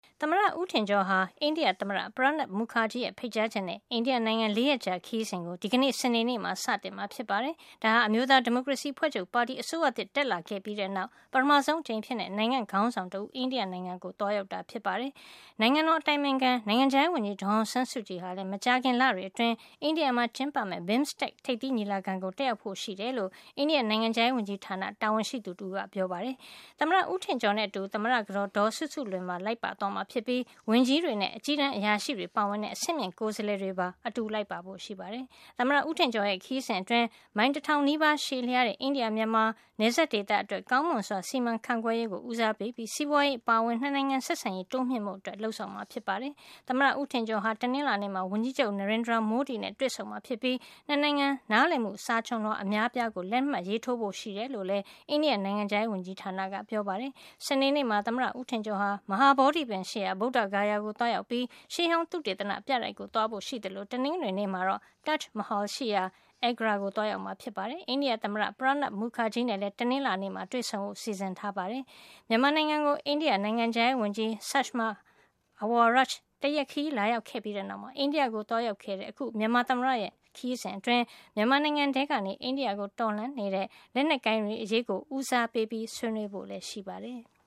သမ္မတ ဦးထင်ကျော်ဟာ အိန္ဒိယသမ္မတ Pranab Mukherjee ရဲ့ ဖိတ်ကြားချက်နဲ့ အိန္ဒိယနိုင်ငံ ၄ ရက်ကြာခရီးစဉ်ကို ဒီကနေ့ စနေနေ့မှာ စတင်မှာ ဖြစ်ပါတယ်။ ဒါဟာ အမျိုးသားဒီမိုကရေစီ အဖွဲ့ချုပ်ပါတီ အစိုးရသစ်တက်လာခဲ့ပြီးတဲ့နောက် ပထမဆုံး အကြိမ်အဖြစ် နိုင်ငံ့ခေါင်းဆောင်တဦး အိန္ဒိယနိုင်ငံကို သွားရောက်တာ ဖြစ်ပါတယ်။ နိုင်ငံတော် အတိုင်ပင်ခံ နိုင်ငံခြားရေးဝန်ကြီး ဒေါ်အောင်ဆန်းစုကြည်ဟာလည်း မကြာခင် လတွေ အတွင်း အိန္ဒိယမှာ ကျင်းပမယ့် BIMSTEC ထိပ်သီးညီလာခံကို တက်ရောက်ဖို့ရှိတယ်လို့ အိန္ဒိယနိုင်ငံခြားရေးဝန်ကြီးဌာန တာဝန်ရှိသူ တဦးက ပြောပါတယ်။ သမ္မတ ဦးထင်ကျော်နဲ့အတူ သမ္မတကတော်ဒေါ်စုစုလွင်ပါ လိုက်ပါသွားမှာ ဖြစ်ပြီး ဝန်ကြီးတွေနဲ့ အကြီးတန်း အရာရှိတွေပါဝင်တဲ့ အဆင့်မြင့် ကိုယ်စားလှယ်တွေပါ အတူလိုက်ပါဖို့ ရှိပါတယ်။ သမ္မတဦးထင်ကျော်ရဲ့ ခရီးစဉ်အတွင်း မိုင် ၁၀၀၀ နီးပါး ရှည်လျားတဲ့ အိန္ဒိယ မြန်မာ နယ်စပ်ဒေသ အတွက် ကောင်းမွန်စွာ စီမံခန့်ခွဲရေး ကို ဦးစားပေးပြီး စီးပွါးရေးအပါအဝင် ၂ နိုင်ငံ ဆက်ဆံရေး တိုးမြှင့်ဖို့ လုပ်ဆောင်မှာ ဖြစ်ပါတယ်။ သမ္မတဦးထင်ကျော်ဟာ တနင်္လာနေ့မှာ ဝန်ကြီးချုပ် Narendra Modi နဲ့ တွေ့ဆုံမှာ ဖြစ်ပြီး နှစ်နိုင်ငံ နားလည်မှု စာချွန်လွှာ အများအပြားကို လက်မှတ်ရေးထိုးဖို့ ရှိတယ်လို့ လည်း အိန္ဒိယ နိုင်ငံခြားရေး ဝန်ကြီးဌာနကပြောပါတယ်။ စနေနေ့မှာ သမ္မတဦးထင်ကျော်ဟာ မဟာဗောဓိပင်ရှိရာ ဗုဒ္ဓဂါယာကို သွားရောက်ပြီး ရှေးဟောင်းသုတေသနပြတိုက်ကို သွားဖို့ ရှိသလို တနင်္ဂနွေနေ့မှာတော့ Taj Mahal ရှိရာ Agra ကို သွားရောက်မှာ ဖြစ်ပါတယ်။ အိန္ဒိယ သမ္မတ Pranab Mukherjee နဲ့လည်း တနင်္လာနေ့မှာ တွေ့ဆုံဖို့ စီစဉ်ထားပါတယ်။ မြန်မာနိုင်ငံကို အိန္ဒိယနိုင်ငံခြားရေးဝန်ကြီး Sushma Awaraj တရက်ခရီး လာရောက်ခဲ့ပြီးတဲ့နောက် အိန္ဒိယကို သွားရောက်တဲ့ အခု မြန်မာသမ္မတရဲ့ အိန္ဒိယ ခရီးစဉ်အတွင်း မြန်မာနိုင်ငံထဲကနေ အိန္ဒိယကို တော်လှန်နေတဲ့ လက်နက်ကိုင်တွေ အရေးကို ဦးစားပေး ဆွေးနွေးဖို့ လည်း ရှိပါတယ်။